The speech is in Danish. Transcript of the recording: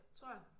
Tror jeg